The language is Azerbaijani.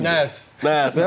Nərd.